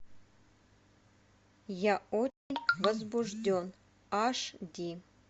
я очень возбужден аш ди